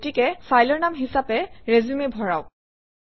গতিকে ফাইলৰ নাম হিচাপে ৰিচিউম ভৰাওক